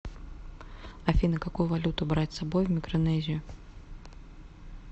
афина какую валюту брать с собой в микронезию